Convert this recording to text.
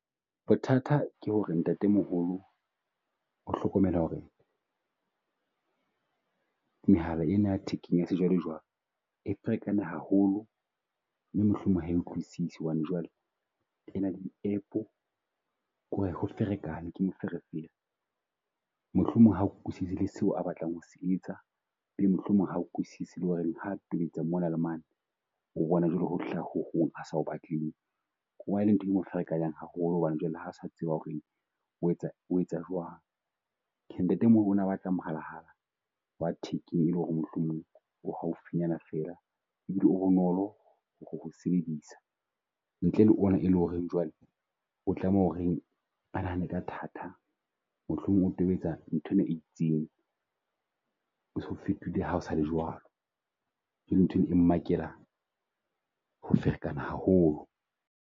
Bothata ke ho re ntate moholo o hlokomela ho re mehala ena ya jwalo jwalo a ferekane haholo, mme mohlomong ha utlwisise hobane jwale ena app-o ho ko re ferekana ke moferefere. Mohlomong ha utlwisisi le seo a batlang ho etsa, e be mohlomong ha utlwisise le ho reng ha tobetsa mona le mane. O bona jwale ho hlaha ho hong a sa batleng ho bala, o bona e le ntho e mo ferekanyang haholo hobane jwale ha se tseba ho re o etsa o etsa jwang. Ntate moholo o na batla mohalahala wa thekeng, ele ho re mohlomong o haufinyana feela ebile o bonolo ho ho sebedisa ntle le ona e leng ho re jwale o tlameha o reng, a nahane ka thata. Mohlomong o tobetsa nthwena e itseng o so fetohile ha o sale jwalo, jwalo nthwena e makela ho ferekana haholo.